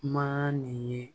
Kuma nin ye